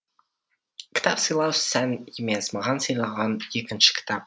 кітап сыйлау сән емес маған сыйлаған екінші кітап